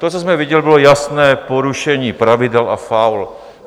To, co jsme viděli, bylo jasné porušení pravidel a faul.